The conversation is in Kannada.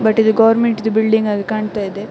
ಬಟ್ ಇದು ಗವರ್ನಮೆಂಟ್ ದು ಬಿಲ್ಡಿಂಗ್ ನ ಹಾಗೆ ಕಾಣ್ತಾ ಇದೆ.